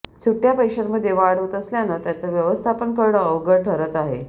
सुट्ट्या पैशांमध्ये वाढ होत असल्यानं त्याचं व्यवस्थापन करणं अवघड ठरत आहे